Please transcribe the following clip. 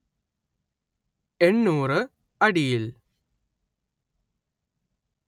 എണ്ണൂറു അടിയിൽ